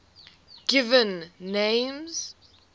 given names